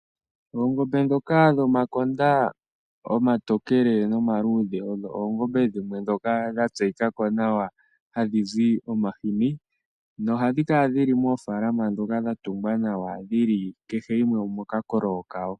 Oongombe ndhoka dhomakonda omatokele nomaluudhe odho oongombe dhimwe ndhoka dha tseyika ko nawa hadhi zi omahini, nohadhi kala moofaalama ndhoka dha tungwa nawa, dhili kehe yimwe omokakololo kawo.